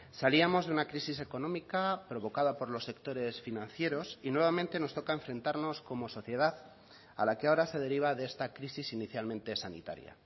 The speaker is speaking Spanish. salíamos de una crisis económica provocada por los sectores financieros y nuevamente nos toca enfrentarnos como sociedad a la que ahora se deriva de esta crisis inicialmente sanitaria